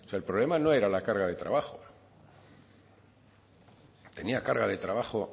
el problema no era la carga de trabajo tenía carga de trabajo